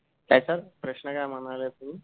ह्याचा प्रश्न काय म्हणाला ते